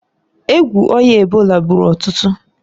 Egwu oya ebola gburu ọtụtụ.